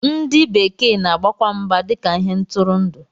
Ndị bekee na-agbakwa mgba dịka ihe ntụrụndụ